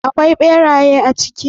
Akwai beraye a ciki?